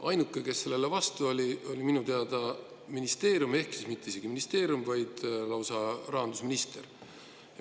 Ainuke, kes sellele vastu oli, oli minu teada ministeerium, õigemini isegi mitte ministeerium, vaid lausa rahandusminister.